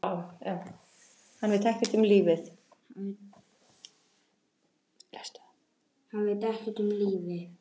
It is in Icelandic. Hann veit ekkert um lífið.